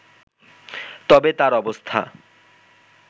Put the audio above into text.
তবে তার অবস্থা